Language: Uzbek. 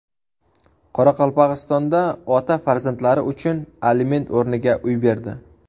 Qoraqalpog‘istonda ota farzandlari uchun aliment o‘rniga uy berdi.